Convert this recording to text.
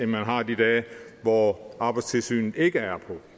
man har de dage hvor arbejdstilsynet ikke er på